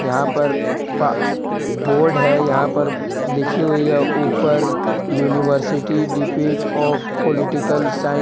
यहां पर पा बोर्ड है यहां पर लिखी हुई है ऊपर university dept of political science.